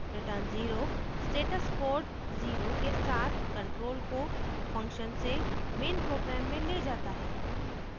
return 0 status code 0 zero के साथ control को function से main program में ले जाता है